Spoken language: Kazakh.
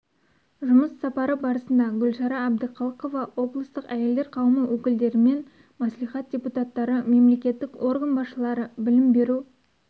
жұмыс сапары барысында гүлшара әбдіқалықова облыстық әйелдер қауымы өкілдерімен мәслихат депутаттары мемлекеттік орган басшылары білім беру